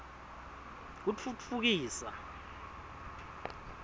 kutfutfukisa